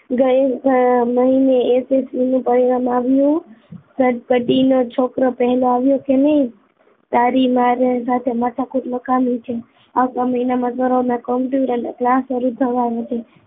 ગયે મહિને S S C નુ પરિણામ આવ્યું ગણપતિ નો છોકરો પેહેલો તારી માર હારે માથાકુટ નકામી છે આવતા મહિનામાં સૌરભ ને computer ના class શરૂ થવાના છે